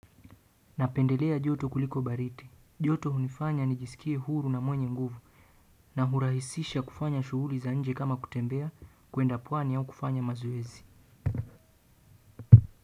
Napendelea joto kuliko baridi. Joto hunifanya nijisikie huru na mwenye nguvu. Na hurahisisha kufanya shughuli za nje kama kutembea kuenda pwani au kufanya mazoezi.